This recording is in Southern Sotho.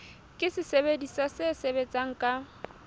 ke sesebediswa se sebetsang ka